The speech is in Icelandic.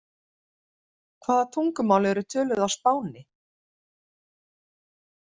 Hvaða tungumál eru töluð á Spáni?